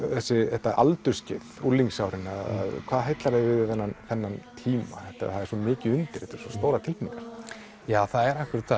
þetta aldursskeið unglingsárin hvað heillar þig við þennan þennan tíma það er svo mikið undir þetta eru svo stórar tilfinningar það er akkúrat það